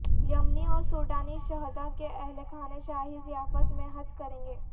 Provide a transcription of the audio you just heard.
یمنی اور سوڈانی شہدا کے اہل خانہ شاہی ضیافت میں حج کرینگے